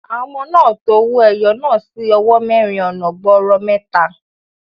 Àwọn ọmọ náà to owó ẹyọ náà sí owó mẹ́rin ọ̀nà gbọọrọ mẹ́ta.